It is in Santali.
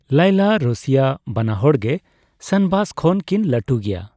ᱞᱟᱭᱞᱟ, ᱨᱚᱥᱤᱭᱟ, ᱵᱟᱱᱟᱦᱚᱲᱜᱮ ᱥᱟᱱᱵᱟᱥ ᱠᱷᱚᱱ ᱠᱤᱱ ᱞᱟᱹᱴᱩ ᱜᱮᱭᱟ ᱾